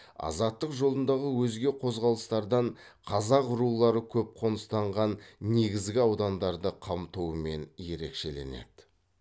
азаттық жолындағы өзге қозғалыстардан қазақ рулары көп қоныстанған негізгі аудандарды қамтуымен ерекшеленеді